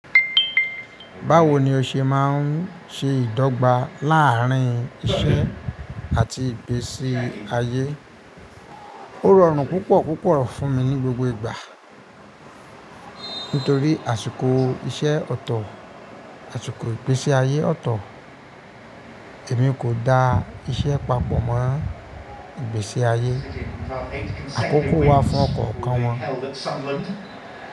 Báwo ni o ṣe máa ń ṣe ìdọ́gba láàárín iṣẹ́ àti ìgbésí ayé? Ó rọrùn púpọ̀ púpọ̀ fún mi ní gbogbo ìgbà. Nítorí àsìkò iṣẹ́ ọ̀tọ̀, àsìkò ìgbésí ayé ọ̀tọ̀, èmi kò da iṣẹ́ papọ̀ mọ́ ìgbésí ayé. Àkókò wà fún ọ̀kọ̀o kan wọn.